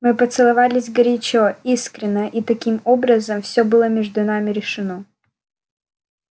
мы поцеловались горячо искренно и таким образом всё было между нами решено